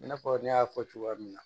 I n'a fɔ ne y'a fɔ cogoya min na